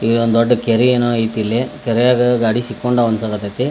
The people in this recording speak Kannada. ಇಲ್ಲೊಂದ್ ದೊಡ್ ಕೆರೆ ಏನೋ ಐತ್ ಇಲ್ಲಿ ಕೆರೆಯಲ್ಲಿ ಗಾಡಿ ಸಿಕ್ಕೋರೋತೋ ಇಲ್ಲಿ .